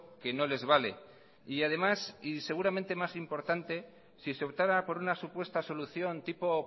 que no les vale y además y seguramente más importante si se optara por una supuesta solución tipo